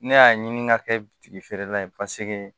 Ne y'a ɲini ka kɛ bitigi feerela ye paseke